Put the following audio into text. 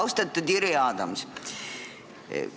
Austatud Jüri Adams!